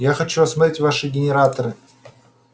я хочу осмотреть ваши генераторы